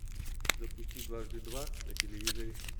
запусти дважды два на телевизоре